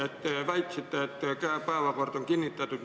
Te väitsite, et päevakord on kinnitatud.